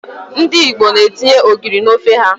Ndị Igbo etinye ogiri n'ofe ha.